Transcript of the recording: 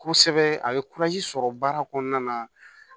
Kosɛbɛ a ye sɔrɔ baara kɔnɔna na